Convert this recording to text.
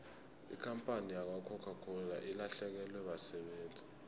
ikampani yakwacoca cola ilahlekelwe basebenzi